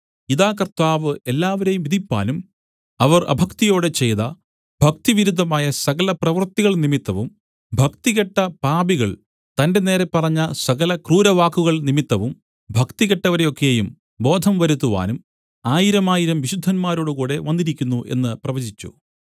ഇതാ കർത്താവ് എല്ലാവരെയും വിധിപ്പാനും അവർ അഭക്തിയോടെ ചെയ്ത ഭക്തിവിരുദ്ധമായ സകലപ്രവൃത്തികൾ നിമിത്തവും ഭക്തികെട്ട പാപികൾ തന്റെ നേരെ പറഞ്ഞ സകല ക്രൂരവാക്കുകൾ നിമിത്തവും ഭക്തികെട്ടവരെ ഒക്കെയും ബോധം വരുത്തുവാനും ആയിരമായിരം വിശുദ്ധന്മാരോടുകൂടെ വന്നിരിക്കുന്നു എന്ന് പ്രവചിച്ചു